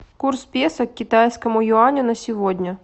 курс песо к китайскому юаню на сегодня